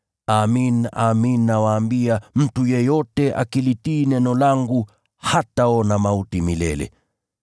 Amin, amin nawaambia, mtu yeyote akilitii neno langu hataona mauti milele.”